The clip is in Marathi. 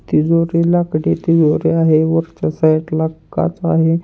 तिजोरीला कडे होरिया आहे वरच्या साइडला काँच आहे.